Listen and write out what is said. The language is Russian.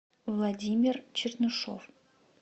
владимир чернышов